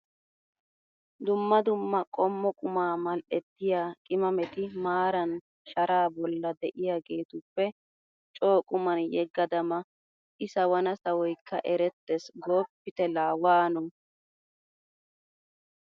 Dumma dumma qommo qumma mal"ettiya qimameti maaran sharaa bolla de'iyageetuppe coo qumman yegada ma! I sawana sawoykka erettees gooppite laa waano!